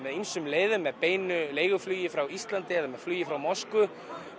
ýmsu leiðum með beinu leiguflugi frá Íslandi eða með flugi frá Moskvu